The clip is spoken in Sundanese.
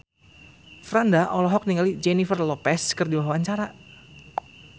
Franda olohok ningali Jennifer Lopez keur diwawancara